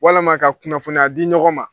Walama ka kunnafoniya di ɲɔgɔn ma